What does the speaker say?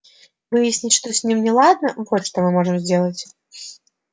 выяснить что с ними неладно вот что мы можем сделать